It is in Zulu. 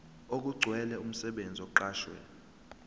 okugcwele umsebenzi oqashwe